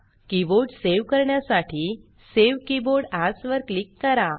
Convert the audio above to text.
keyboard save करण्यासाठी save keyboard as वर click करा